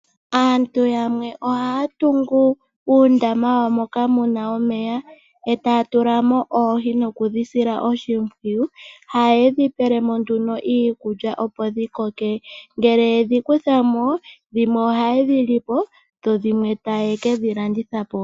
Aantu yamwe ohaya tungu uundama wawo moka muna omeya, e taya tulamo oohi, nokudhi sila oshimpwiyu. Ohaye dhi pelemo nduno iikulya opo dhikoke. Ngele yedhikuthamo ohaye dhilipo, dho dhimwe taye kedhi landithapo.